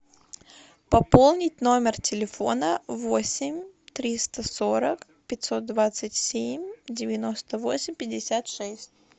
пополнить номер телефона восемь триста сорок пятьсот двадцать семь девяносто восемь пятьдесят шесть